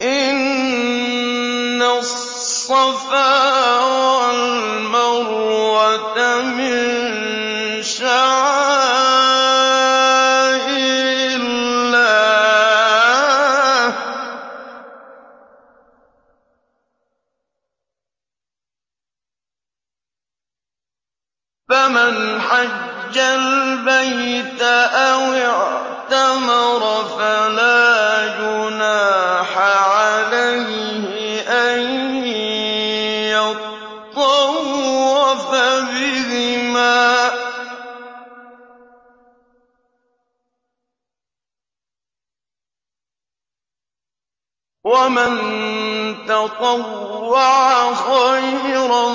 ۞ إِنَّ الصَّفَا وَالْمَرْوَةَ مِن شَعَائِرِ اللَّهِ ۖ فَمَنْ حَجَّ الْبَيْتَ أَوِ اعْتَمَرَ فَلَا جُنَاحَ عَلَيْهِ أَن يَطَّوَّفَ بِهِمَا ۚ وَمَن تَطَوَّعَ خَيْرًا